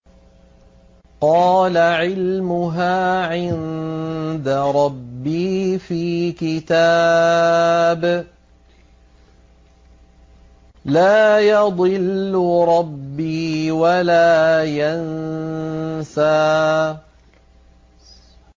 قَالَ عِلْمُهَا عِندَ رَبِّي فِي كِتَابٍ ۖ لَّا يَضِلُّ رَبِّي وَلَا يَنسَى